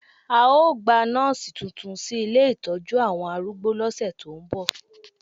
A ó gba nọ́ọ̀sì tuntun sí ilé ìtọ́jú àwọn arúgbó lọ́sẹ̀ tó ń bọ̀